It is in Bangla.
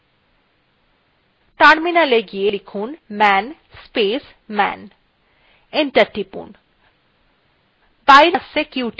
terminalএ go লিখুন man space man enter টিপুন